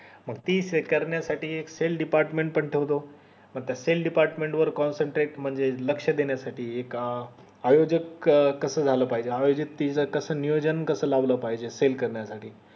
तीच हे करण्या साठी एक cell department पण ठेवतो नंतर cell department वर concentrate म्हणजे लक्ष देण्या साठी एक आयोजक कस झालं पाहिजे आयोजन कस नियोजन कस पाहिजे करण्या साठी